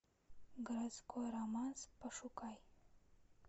городской романс пошукай